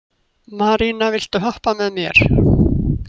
Marína, viltu hoppa með mér?